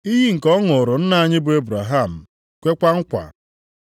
Iyi nke ọ ṅụụrụ nna anyị bụ Ebraham, kwekwa nkwa: